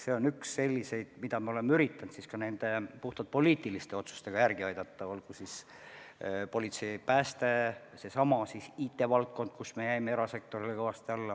See on üks selliseid palku, mida me oleme üritanud puhtalt poliitiliste otsustega järele aidata, olgu siis politsei, pääste, seesama IT-valdkond, kus me jäime erasektorile kõvasti alla.